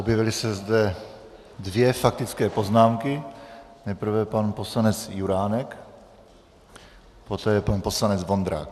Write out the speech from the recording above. Objevily se zde dvě faktické poznámky, nejprve pan poslanec Juránek, poté pan poslanec Vondrák.